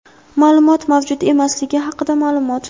maʼlumot mavjud emasligi haqida maʼlumot.